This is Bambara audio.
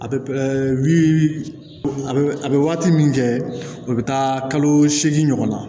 A bɛ wili a bɛ a bɛ waati min kɛ a bɛ taa kalo seegin ɲɔgɔn na